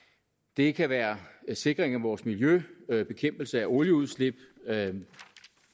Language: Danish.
det kan være sikring af vores miljø bekæmpelse af olieudslip